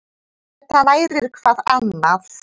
Þetta nærir hvað annað.